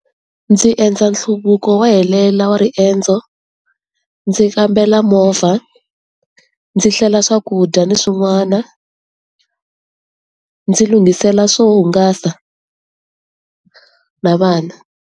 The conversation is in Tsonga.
Ndzi endla nhluvuko wa helela wa riendzo, ndzi kambela movha, ndzi hlela swakudya ni swin'wana, ndzi lungisela swo hungasa na vana.